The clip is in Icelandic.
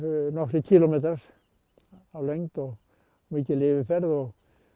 nokkrir kílómetrar og